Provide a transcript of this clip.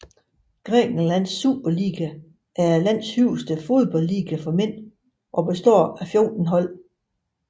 Grækenlands Super League er landets højeste fodboldliga for mænd og består af fjorten hold